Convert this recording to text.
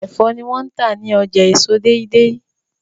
Ẹfọ ni wón tá ní ọjà èso Deidei